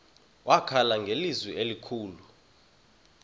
wakhala ngelizwi elikhulu